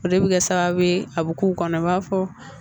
O de bɛ kɛ sababu ye a bɛ k'u kɔnɔ n b'a fɔ